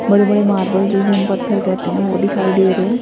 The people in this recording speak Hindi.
बड़े बड़े मार्बल जिसे हम पत्थर कहते हैं वो दिखाई दे रहे हैं।